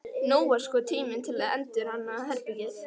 Nú var sko tími til að endurhanna herbergið.